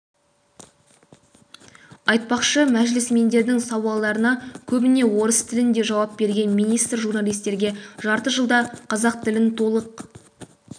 айтпақшы мәжілісмендердің сауалдарына көбіне орыс тілінде жауап берген министр журналистерге жарты жылда қазақ тілін толық